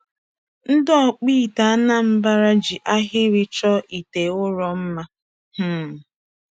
Ndị Ọkpụite Anambra ji ahịrị chọọ ite ụrọ mma. um